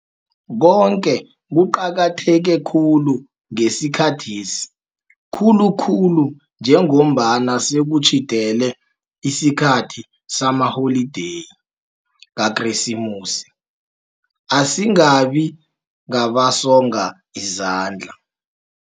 Koke kuqakatheke khulu ngesikhathesi, khulukhulu njengombana sekutjhidele isikhathi samaholideyi kaKresimusi, asingabi ngabasonga izandla.